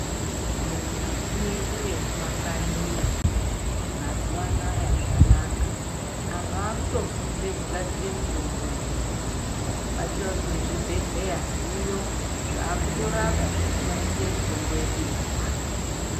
Mimbuti yedu yemumakanyiyo mazuwaanaa zvanaka antu vakutofundire kugadzira mitombo ndiyo atorine zvibhedhlera zviriyo zvakutorapa zveishandisa mitombo yedu yechianhu.